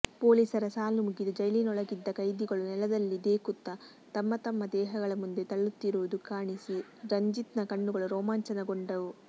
ಪೊಲೀಸರ ಸಾಲು ಮುಗಿದು ಜೈಲಿನೊಳಗಿದ್ದ ಕೈದಿಗಳು ನೆಲದಲ್ಲಿ ದೇಕುತ್ತ ತಮ್ಮತಮ್ಮ ದೇಹಗಳ ಮುಂದೆ ತಳ್ಳುತ್ತಿರುವುದು ಕಾಣಿಸಿ ರಂಜಿತ್ನ ಕಣ್ಣುಗಳು ರೋಮಾಂಚನಗೊಂಡವು